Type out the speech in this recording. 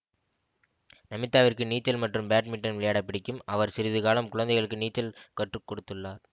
நமிதாவிற்கு நீச்சல் மற்றும் பேட்மிட்டன் விளையாட பிடிக்கும் அவர் சிறிது காலம் குழந்தைகளுக்கு நீச்சல் கற்று கொடுத்துள்ளார்